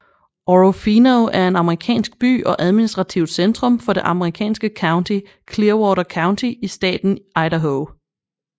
Orofino er en amerikansk by og administrativt centrum for det amerikanske county Clearwater County i staten Idaho